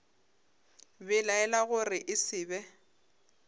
belaela gore e se be